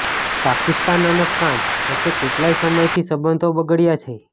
પાકિસ્તાન અને ફ્રાંસ વચ્ચે કેટલાક સમયથી સંબંધો બગડ્યા છે